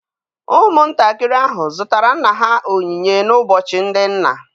Ụmụntakịrị ahụ zụtara nna ha onyinye n'ụbọchị ndị nna.